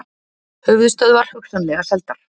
Höfuðstöðvar hugsanlega seldar